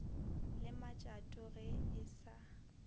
le matšato ge e sa